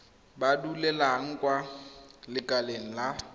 ba duelang kwa lekaleng la